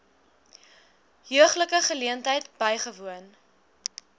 heuglike geleentheid bywoon